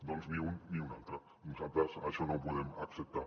doncs ni un ni l’altre nosaltres això no ho podem acceptar